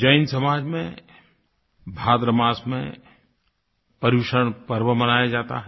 जैन समाज में भाद्र मास में पर्युषण पर्व मनाया जाता है